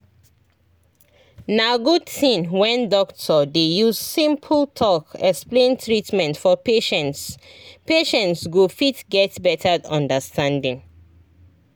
na good thing when doctor dey use simple talk explain treatment for patients patients go fit get better understanding